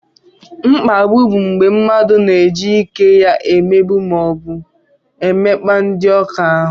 Bụliyin bụ mgbé mmadụ na-eji ike ya emegbu maọbu emekpa ndị ọ ka ahụ.